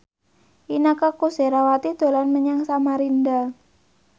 Inneke Koesherawati dolan menyang Samarinda